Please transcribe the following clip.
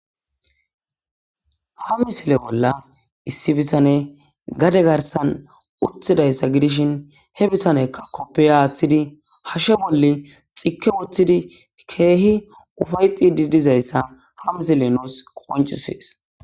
ha misile bolla issi bisane gade garsan uthidayssa gidishin he bisanekka koppey aaththidi hashe bolle xikke woththidi keehi ufayxi didizayssa hamisille nuus qoncisees